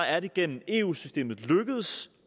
er det gennem eu systemet lykkedes